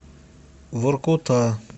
воркута